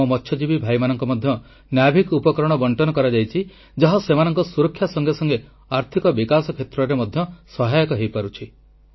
ଆମ ମତ୍ସ୍ୟଜୀବୀ ଭାଇମାନଙ୍କୁ ମଧ୍ୟ ନାଭିକ ନାଭିକ୍ ଉପକରଣ ବଂଟନ କରାଯାଇଛି ଯାହା ସେମାନଙ୍କ ସୁରକ୍ଷା ସଙ୍ଗେ ସଙ୍ଗେ ଆର୍ଥିକ ବିକାଶ କ୍ଷେତ୍ରରେ ମଧ୍ୟ ସହାୟକ ହୋଇପାରୁଛି